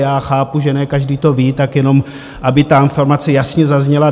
Já chápu, že ne každý to ví, tak jenom, aby tam formace jasně zazněla.